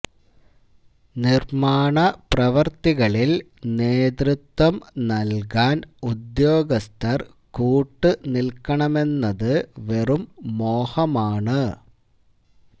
നിർമ്മാണ പ്രവർത്തികളിൽ നേതതൃത്വം നൽകാൻ ഉദ്യോഗസ്ഥർ കൂട്ടുനിൽക്കണമെന്നത് വെറും മോഹമാണ്